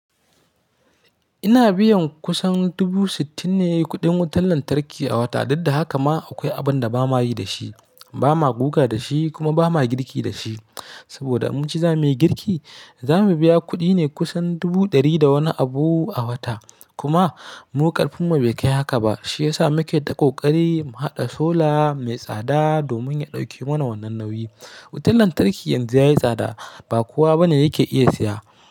Ina biyan kusan dubu sittin ne kuɗin wutan lantarki a wata, duk da haka ma akwai abin da ba ma yi da shi, ba ma guga da shi kuma ba ma girki da shi. Saboda in mun ce zamuyi girki, za mu biya kuɗi ne kusan dubu ɗari da wani abu a wata. Kuma mu ƙarfin mu bai kai haka ba, shi ya sa muke ta ƙoƙari mu haɗa sola mai tsada domin ya ɗauke mana wannan nauyi. Wutan lantarki yanzu ya yi tsada, ba kowa bane yake iya siya.